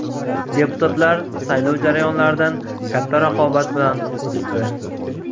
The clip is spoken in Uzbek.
Deputatlar saylov jarayonlaridan katta raqobat bilan o‘tdi.